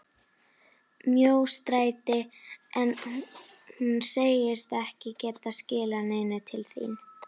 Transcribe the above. Mjóstræti en hún segist ekki geta skilað neinu til þín.